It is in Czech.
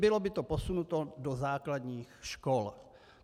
Bylo by to posunuto do základních škol.